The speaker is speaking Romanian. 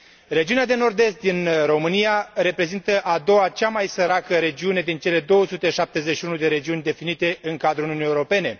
Regiunea de Nord Est din România reprezintă a doua cea mai săracă regiune din cele 271 de regiuni definite în cadrul Uniunii Europene.